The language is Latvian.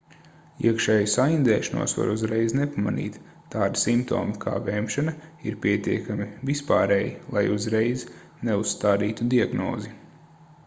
iekšēju saindēšanos var uzreiz nepamanīt tādi simptomi kā vemšana ir pietiekami vispārēji lai uzreiz neuzstādītu diagnozi